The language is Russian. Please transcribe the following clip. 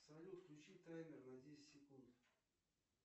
салют включи таймер на десять секунд